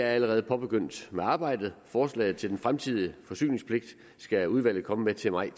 allerede påbegyndt arbejdet forslaget til den fremtidige forsyningspligt skal udvalget komme med til maj